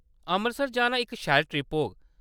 अमृतसर जाना इक शैल ट्रिप होग।